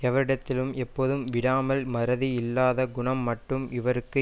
எவரிடத்திலேனும் எப்போதும் விடாமல் மறதி இல்லாத குணம் மட்டும் இருக்கும்